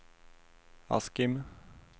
Askim